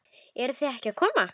Eruð þið ekki að koma?